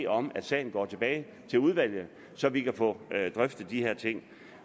om at sagen går tilbage til udvalget så vi kan få drøftet de her ting